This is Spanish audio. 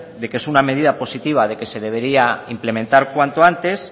de que es una medida positiva de que se debería implementar cuanto antes